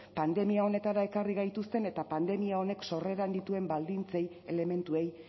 pandemia honetara ekarri gaituzten eta pandemia honek sorreran dituen baldintzei elementuei